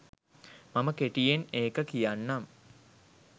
මම කෙටියෙන් ඒක කියන්නම්.